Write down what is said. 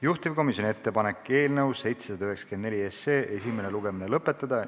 Juhtivkomisjoni ettepanek on eelnõu 794 esimene lugemine lõpetada.